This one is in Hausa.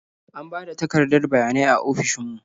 An ba da takardar bayanai a ofishin mu.